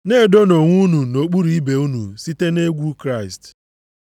Na-edonụ onwe unu nʼokpuru ibe unu site nʼegwu Kraịst.